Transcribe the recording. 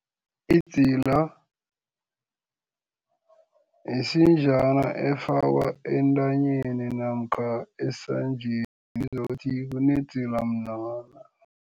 Idzila yisinjana efakwa entanyeni namkha esandleni ibizwa ukuthi kunedzila mnwana